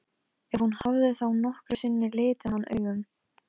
Róslinda, hvað geturðu sagt mér um veðrið?